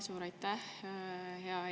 Suur aitäh!